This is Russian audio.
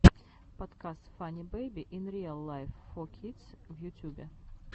подкаст фанни бэйби ин риал лайф фор кидс в ютюбе